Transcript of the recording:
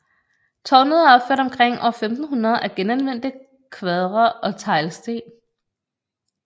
Tårnet er opført omkring år 1500 af genanvendte kvadre og teglsten